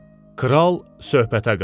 Kral söhbətə qarışdı.